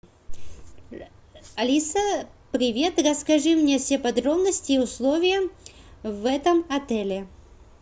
алиса привет расскажи мне все подробности и условия в этом отеле